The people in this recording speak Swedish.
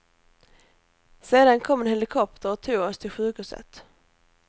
Sedan kom en helikopter och tog oss till sjukhuset.